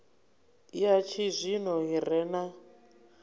ya tshizwino i re na